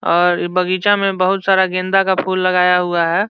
और बगीचा में बहुत सारा गेंदा का फूल लगाया हुआ है।